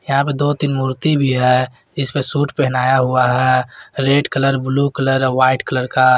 यहा पे दो तीन मूर्ति भी है इस पर सूट पहनाया हुआ है red colour blue colour white colour का।